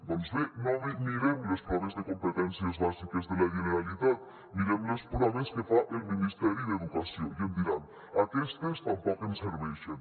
doncs bé no mirem les proves de competències bàsiques de la generalitat mirem les proves que fa el ministeri d’educació i em diran aquestes tampoc ens serveixen